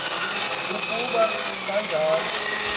uku ba kanjalo